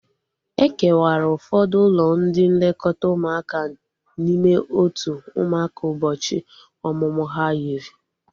E kewara ụfọdụ ụlọ ndị nlekọta ụmụaka n'ime otu ụmụaka ụbọchị ọmụmụ ha yiri